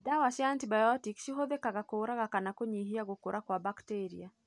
Dawa cia antibiotĩki cihũthĩkaga kũuraga kana kũnyihia gũkũra kwa bakteria.